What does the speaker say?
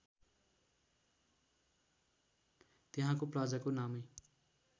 त्यहाँको प्लाजाको नामै